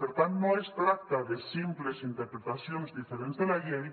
per tant no es tracta de simples interpretacions diferents de la llei